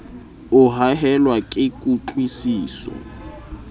o haellwa ke kutlwi siso